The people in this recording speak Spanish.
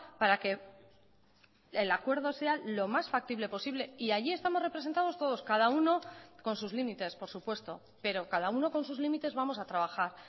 para que el acuerdo sea lo más factible posible y allí estamos representados todos cada uno con sus límites por supuesto pero cada uno con sus límites vamos a trabajar